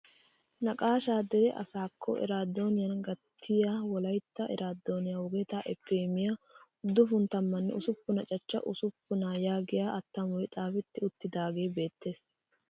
Naqashshaa dere asaakko eraadooniyaan gattiyaa wolaytta eraadoniyaa wogetaa epi emiyaa uduppun tammanne usuppuna cahcha usuppunaa yaagiyaa attamoy xaafetti uttiidaagee beettees!